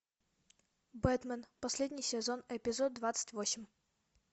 бэтмен последний сезон эпизод двадцать восемь